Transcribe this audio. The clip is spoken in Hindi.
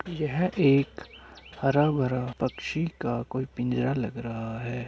यह एक हरा-भरा पक्षी का कोई पिंजरा लग रहा है।